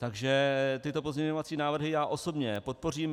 Takže tyto pozměňovací návrhy já osobně podpořím.